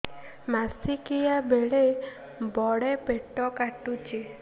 ମାସିକିଆ ବେଳେ ବଡେ ପେଟ କାଟୁଚି